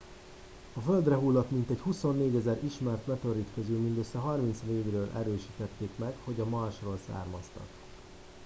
a földre hullott mintegy 24 000 ismert meteorit közül mindössze 34 ről erősítették meg hogy a marsról származtak